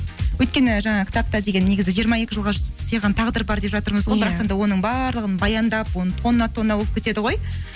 өйткені жаңағы кітапта деген негізі жиырма екі жылға сыйған тағдыр бар деп жатырмыз ғой иә да оның барлығын баяндап онда ол тонна тонна болып кетеді ғой